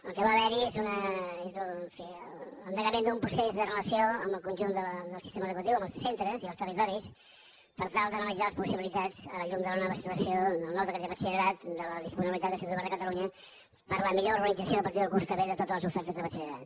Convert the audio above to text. el que va haver hi és l’endegament d’un procés de relació amb el conjunt del sistema educatiu amb els centres i els territoris per tal d’analitzar les possibilitats a la llum de la nova situació del nou decret de batxillerat de la disponibilitat de l’institut obert de catalunya per a la millor organització a partir del curs que ve de totes les ofertes de batxillerat